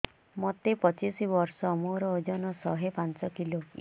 ମୋତେ ପଚିଶି ବର୍ଷ ମୋର ଓଜନ ଶହେ ପାଞ୍ଚ କିଲୋ